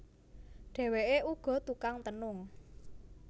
Dheweké uga tukang tenung